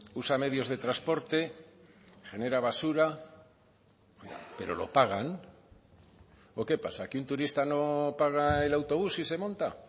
usa medios de transporte genera basura pero lo pagan o qué pasa que un turista no paga el autobús si se monta